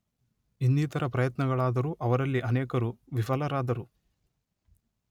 ಇನ್ನಿತರ ಪ್ರಯತ್ನಗಳಾದರೂ ಅವರಲ್ಲಿ ಅನೇಕರು ವಿಫಲರಾದರು